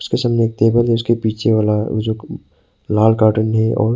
सामने एक टेबल है उसके पीछे वाला वो जो लाल काटन है और--